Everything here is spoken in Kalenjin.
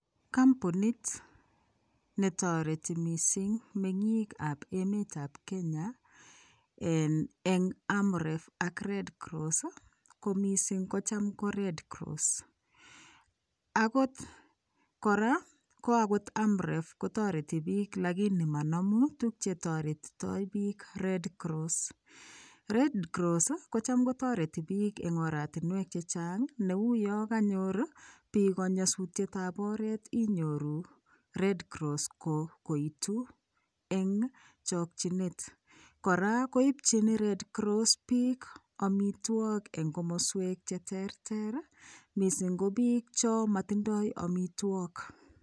Kombunit netoreti mising temikab emetab Kenya eng' Amref ak Red cross komising kocham ko Red cross, akot kora Amref kotam kotoreti biik lakinii monomu tukuk chetoretitoi biik Red cross, Red cross kocham kotoreti biik en oratinwek chechang neuu yoon konyor biik konyosutietab inyoru Red cross koitu eng' chokyinet, kora koipchin Red cross biik amitwokik en komoswek cheterter mising ko biik chemotindo amitwokik.